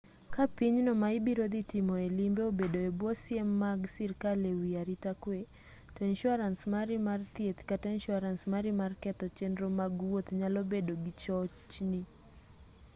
ka pinyno ma ibiro dhi tomoe limbe obedo e bwo siem mag sirkal e wi arita kwe to insuarans mari mar thieth kata insuarance mari mar ketho chenro mag wuoth nyalo bedo gi chochni